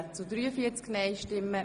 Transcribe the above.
Wiederholung der Abstimmung]